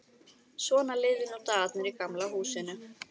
Svona liðu nú dagarnir í Gamla húsinu.